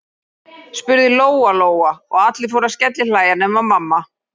spurði Lóa-Lóa, og allir fóru að skellihlæja nema mamma.